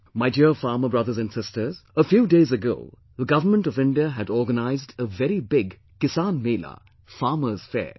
My dear farmer brothers and sisters, a few days ago the Government of India had organised a very big Kisan Mela, 'Farmers' Fair'